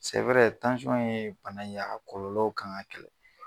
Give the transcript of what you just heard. ye bana ye a kɔlɔlɔw kan ŋa kɛlɛ